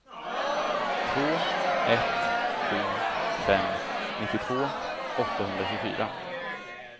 två ett sju fem nittiotvå åttahundratjugofyra